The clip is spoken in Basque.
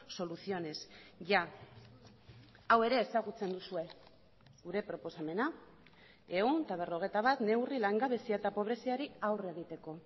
soluciones ya hau ere ezagutzen duzue gure proposamena ehun eta berrogeita bat neurri langabezia eta pobreziari aurre egiteko